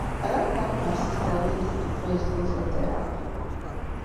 i don carry my sista wey dey depressed go for terapi